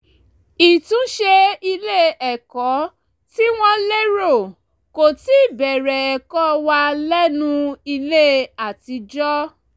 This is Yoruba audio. ìtúnṣe ilé-ẹ̀kọ́ tí wọ́n lérò kò tíì bẹ̀rẹ̀ ẹ̀kọ́ wà lẹ́nu ilé àtijọ́